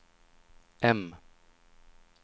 M